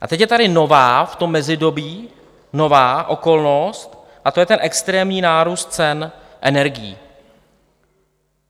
A teď je tady nová v tom mezidobí, nová okolnost, a to je ten extrémní nárůst cen energií.